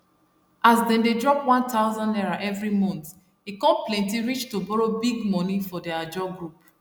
as dem dey drop n1000 every month e come plenty reach to borrow big money for their ajo group